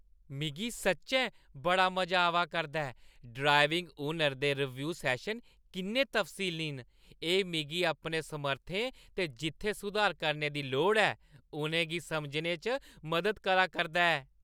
मिगी सच्चैं बड़ा मजा आवा करदा ऐ, ड्राइविंग हुनर दे रीव्यू सैशन किन्ने तफसीली न; एह् मिगी अपनी समर्थें ते जित्थै सुधार करने दी लोड़ ऐ, उ'नें गी समझने च मदद करै करदा ऐ।